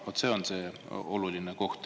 Vaat see on see oluline koht.